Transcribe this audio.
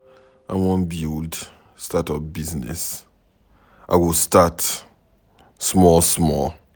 I wan build start up business. I go start small small.